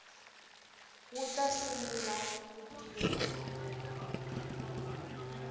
wu ta sungula ku tirha